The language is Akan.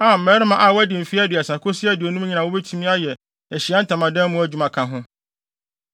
a mmarima a wɔadi mfe aduasa kosi aduonum nyinaa a wobetumi ayɛ Ahyiae Ntamadan mu adwuma ka ho,